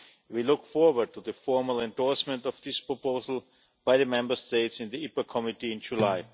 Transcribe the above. We look forward to the formal endorsement of this proposal by the Member States in the IPA Committee in July.